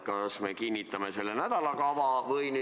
Kas me otsustame selle nädalakava kinnitamise üle?